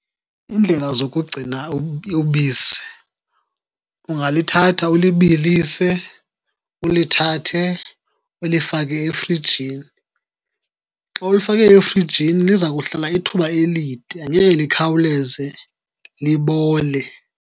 Iindlela zokugcina ubisi, ungalithatha ulibilise, ulithathe ulifake efrijini. Xa ulifake efrijini liza kuhlala ithuba elide, angeke likhawuleze libole.